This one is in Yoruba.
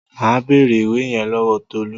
Màá bèrè ìwé yẹn lọ́wọ́ Tolú.